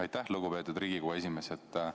Aitäh, lugupeetud Riigikogu esimees!